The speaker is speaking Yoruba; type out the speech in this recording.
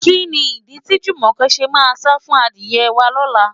Kí ni ìdí tí Jùmọ̀kẹ́ ṣe máa sá fún adìyẹ wá lọ́la?